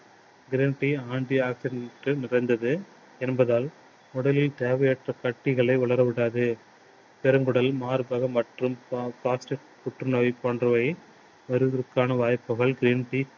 green tea anti oxidant டுகள் மிகுந்தது என்பதால் உடலில் தேவையற்ற கட்டிகளை வளர விடாது. பெருங்குடல், மார்பகம் மற்றும் புற்று நோய் போன்றவை வருவதற்கான வாய்ப்புகள் green tea